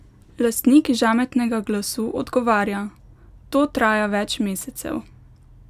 Lastnik žametnega glasu odgovarja: 'To traja več mesecev.